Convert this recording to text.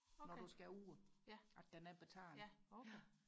okay ja ja okay